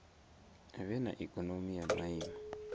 vhe na ikonomi ya maiimo